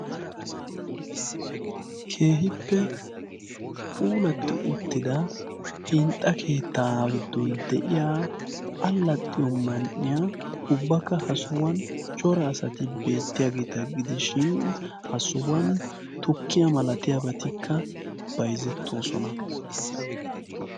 Keehippe puulati uttida hinxxa keetta giddon de'iya alaxiyo man''iyaa ubbaka ha sohuwan cora asati beettiyaageeta gidishin hga sohuwana tukkiya masatiyaabati bayzzetoosona.